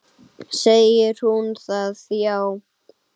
Segir hún það, já?